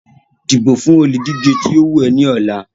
dìbò fún olùdíje tí ó wù ẹ́ ní ọ̀la.